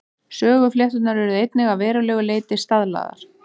Söguflétturnar urðu einnig að verulegu leyti staðlaðar.